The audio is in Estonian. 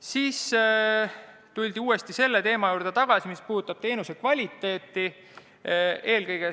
Seejärel tuldi uuesti selle teema juurde, mis puudutab teenuse kvaliteeti.